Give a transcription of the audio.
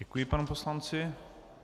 Děkuji panu poslanci.